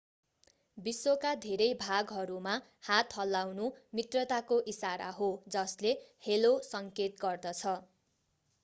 विश्वका धेरै भागहरूमा हात हल्लाउनु मित्रताको इशारा हो जसले हेलो सङ्केत गर्दछ